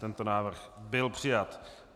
Tento návrh byl přijat.